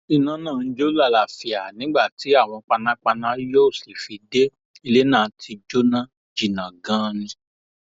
iná náà ń jó làlàáfíà nígbà tí àwọn panápaná yóò sì fi dé ilé náà ti jó jìnnà ganan ni